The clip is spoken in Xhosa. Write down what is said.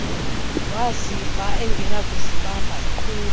waziva engenakuzibamba eqhula